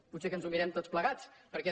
potser que ens ho mirem tots plegats perquè